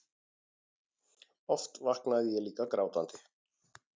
Oft vaknaði ég líka grátandi.